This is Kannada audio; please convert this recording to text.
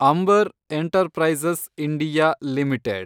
Ambar enterprises India limited